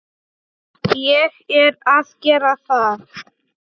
Ég er að gera það.